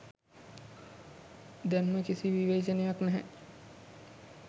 දැන්ම කිසි විවේචනයක් නැහැ.